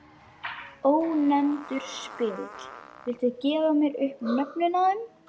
Ónefndur spyrill: Viltu gefa mér upp nöfnin á þeim?